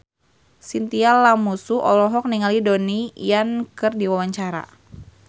Chintya Lamusu olohok ningali Donnie Yan keur diwawancara